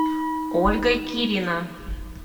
ольга кирина